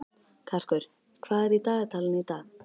Karkur, hvað er í dagatalinu í dag?